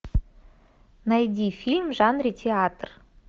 найди фильм в жанре театр